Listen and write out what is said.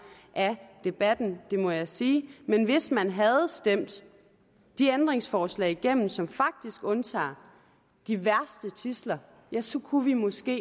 af debatten det må jeg sige men hvis man havde stemt de ændringsforslag igennem som faktisk undtager de værste tidsler ja så kunne vi måske